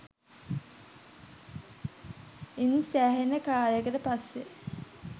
ඉන් සෑහෙන කාලයකට පස්සෙ